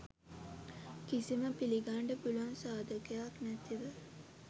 කිසිම පිළිගන්ඩ පුළුවන් සාදකයක් නැතිව